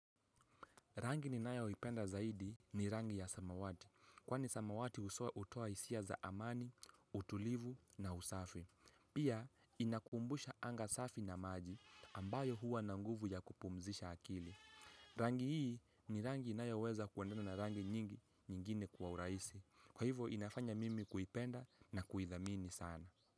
Rangi ninayoipenda zaidi ni rangi ya samawati. Kwani samawati hutoa isia za amani, utulivu na usafi. Pia inakumbusha anga safi na maji ambayo huwa na nguvu ya kupumzisha akili. Rangi hii ni rangi ni inayoweza kuendana na rangi nyingi nyingine kwa uraisi. Kwa hivyo inafanya mimi kuipenda na kuithamini sana.